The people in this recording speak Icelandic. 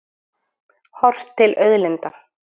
Horft til auðlinda.